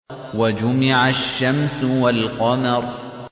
وَجُمِعَ الشَّمْسُ وَالْقَمَرُ